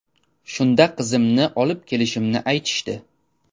Shunda qizimni olib kelishimni aytishdi.